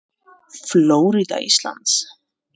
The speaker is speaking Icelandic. Flórída Íslands.